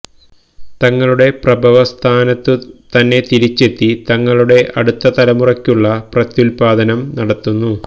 തങ്ങളുടെ പ്രഭവ സ്ഥാനത്തു തന്നെ തിരിച്ചെത്തി തങ്ങളുടെ അടുത്ത തലമുറയ്ക്കുള്ള പ്രത്യല്പാദനം നടത്തുന്നു